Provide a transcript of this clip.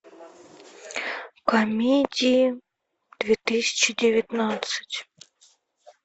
комедии две тысячи девятнадцать